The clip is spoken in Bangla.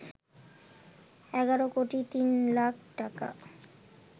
১১ কোটি তিন লাখ টাকা